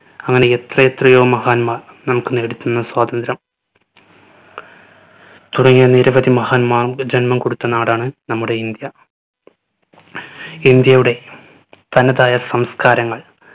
അങ്ങനെ എത്ര എത്രയോ മഹാന്മാർ നമ്മുക്ക് നേടിത്തന്ന സ്വാതന്ത്ര്യം തുടങ്ങിയ നിരവധി മഹാന്മാർക്ക് ജന്മം കൊടുത്ത നാടാണ് നമ്മുടെ ഇന്ത്യ ഇന്ത്യയുടെ തനതായ സംസ്കാരങ്ങൾ